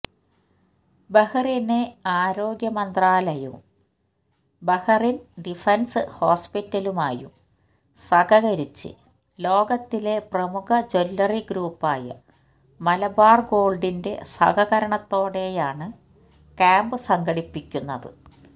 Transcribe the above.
Bahrain ആരോഗ്യമന്ത്രാലയവുമായും Bahrain defence ഹോസ്പിറ്റലുമായും സഹകരിച്ച് ലോകത്തിലെ പ്രമുഖ ജ്വല്ലറി ഗ്രൂപ്പായ മലബാര് ഗോള്ഡിന്റെ സഹകരണത്തോടെയാണ് ക്യാംപ് സംഘടിപ്പിക്കുന്നത്